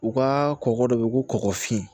U ka kɔkɔ dɔ bɛ yen ko kɔgɔ fin